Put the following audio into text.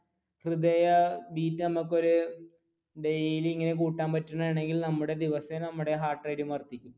ഹൃദയ ബീറ്റ് നമുക്ക് ഒരു daily ഇങ്ങനെ കൂട്ടാൻ പറ്റുകയാണെങ്കിൽ നമ്മുടെ ദിവസേന heart beat ഉം വർധിക്കും